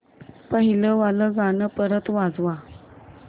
पहिलं वालं गाणं परत वाजव